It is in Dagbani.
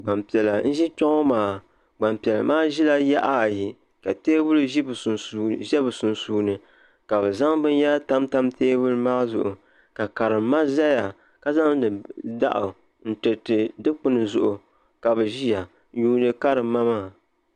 Gbanpiɛla n ʒi kpɛ ŋo maa Gbanpiɛla maa ʒila yaɣa ayi ka teebuli ʒɛ bi sunsuuni ka bi zaŋ binyɛra tamtam teebuli maa zuɣu ka karim ma ʒɛya ka zaŋdi daw n tiriti dikpuni zuɣu ka bi ʒiya n yuundi karim ma maa